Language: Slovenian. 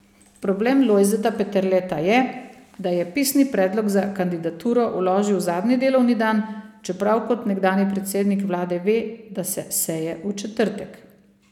Problem Lojzeta Peterleta je, da je pisni predlog za kandidaturo vložil zadnji delovni dan, čeprav kot nekdanji predsednik vlade ve, da so seje v četrtek.